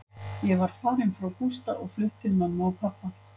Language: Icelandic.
Ég var farin frá Gústa og flutt til mömmu og pabba.